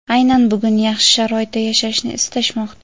aynan bugun yaxshi sharoitda yashashni istashmoqda.